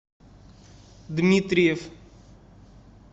дмитриев